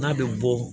N'a bɛ bɔ